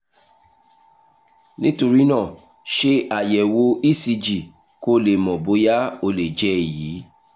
nítorí náà ṣe àyẹ̀wò ecg kó o lè mọ̀ bóyá ó lè jẹ́ èyí